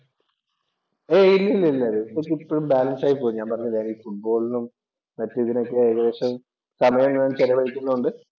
എയ് ഇല്ലില്ലല്ല. ഇപ്പോഴും ബാലന്‍സ് ആയി പോകുന്നു. ഞാൻ പറഞ്ഞില്ലേ ഈ ഫുട്ബോളിനും മറ്റ് ഇതിനൊക്കെ ഏകദേശം സമയം ഞാൻ ചെലവഴിക്കുന്നത് കൊണ്ട്